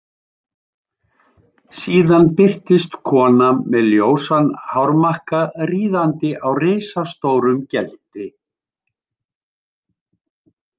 Síðan birtist kona með ljósan hármakka ríðandi á risastórum gelti.